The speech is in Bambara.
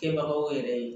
Kɛbagaw yɛrɛ ye